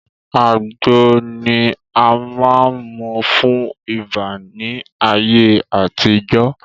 Àgbo ni a máa n mú fún ibà ni ayé àtijọ́